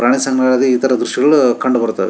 ಪ್ರಾಣಿ ಸಂಗ್ರಹಾಲಯದಲ್ಲಿ ಈ ತರ ದೃಶ್ಯಗಳು ಕಂಡು ಬರುತ್ತವೆ.